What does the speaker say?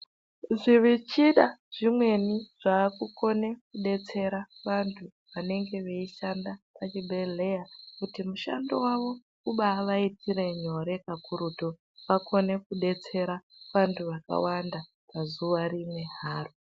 Zvimichina zvimweni zvakukone zvakudetsera vanege weishanda muzvibhedhleya kuti mushando wavo umbavaitira nyore pakurutu kuti akone kubetsera vantu vakawanda pazuva rimwe haro.